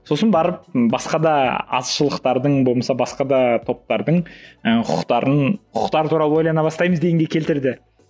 сосын барып басқа да азшылықтардың болмаса басқа да топтардың ы құқықтарын құқықтары туралы ойлана бастаймыз дегенге келтірді